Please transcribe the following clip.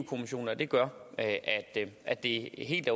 kommissionen og det gør at det er helt